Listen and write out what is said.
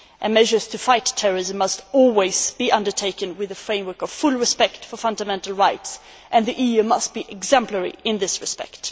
Measures to fight terrorism must always be undertaken within the framework of full respect for fundamental rights, and the EU must be exemplary in this respect.